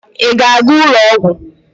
Ị ga-aga ụlọ ọgwụ?